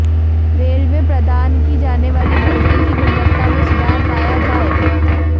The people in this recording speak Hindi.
रेल में प्रदान की जाने वाली भोजन की गुणवत्ता में सुधार लाया जाए